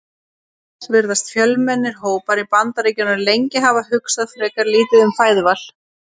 Auk þess virðast fjölmennir hópar í Bandaríkjunum lengi hafa hugsað frekar lítið um fæðuval.